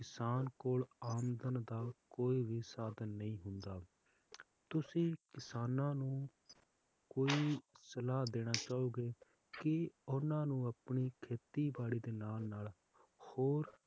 ਕਿਸਾਨ ਕੋਲ ਆਮਦਨ ਦਾ ਕੋਈ ਵੀ ਸਾਧਨ ਨੀ ਹੁੰਦਾ l ਤੁਸੀਂ ਕਿਸਾਨਾਂ ਨੂੰ ਕੋਈ ਸਲਾਹ ਦੇਣਾ ਚਾਹੋਂਗੇ ਕਿ ਕਿਸਾਨਾਂ ਨੂੰ ਆਪਣੀ ਖੇਤੀਬਾੜੀ ਦੇ ਨਾਲ ਨਾਲ ਹੋਰ